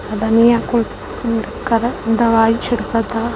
धनिया को दवाई छिड़कता।